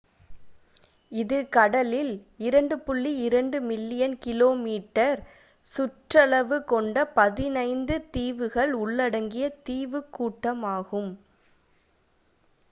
இது கடலில் 2.2 million km2 சுற்றளவு கொண்ட 15 தீவுகள் உள்ளடங்கிய தீவுக்கூட்டம் ஆகும்